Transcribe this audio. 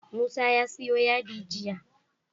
Musa ya siyo yadi jiya